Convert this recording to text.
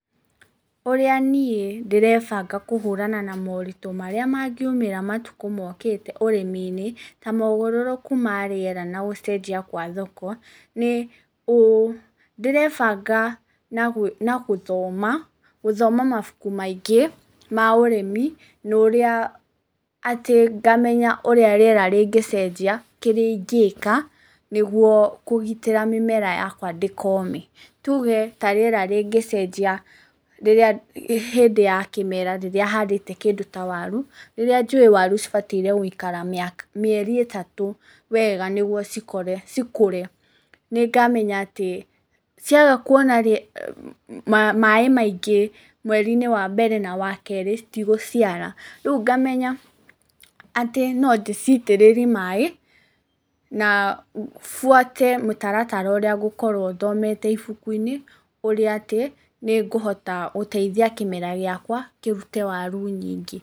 Ũrĩa niĩ ndĩrebanga kũhũrana na moritũ marĩa mangiumĩra matukũ mokĩte urĩmi-inĩ, ta mogarũrũku ma rĩera na gũcenjia gwa thoko nĩ ũũ; ndĩrebanga na gũthoma, gũthoma mabuku maingĩ ma ũrĩmi, nĩ ũrĩa ngamenya ũrĩa rĩera rĩngĩcenjia, kĩrĩa ingĩka nĩguo kũgitĩra mĩmera yakwa ndĩkome. Tuge ta rĩera rĩngĩcenjia hĩndĩ ya kĩmera rĩrĩa handĩte kĩndũ ta waru, rĩrĩa njũĩ waru cibatiĩ gũikara mĩeri ĩtatũ wega nĩguo cikũre. Nĩ ngamenya atĩ ciaga kuona maĩ maingĩ mweri-inĩ wa mbere na wa kerĩ citigũciara. Rĩu ngamenya atĩ no ndĩcitĩrĩrie maĩ na buate mũtaratara ũrĩa ngũkorwo thomete ibuku-inĩ ũrĩa atĩ nĩ ngũhota gũteithia kĩmera gĩakwa kĩrute waru nyingĩ.